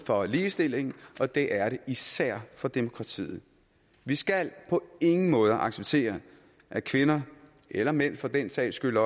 for ligestillingen og det er det især for demokratiet vi skal på ingen måde acceptere at kvinder eller mænd for den sags skyld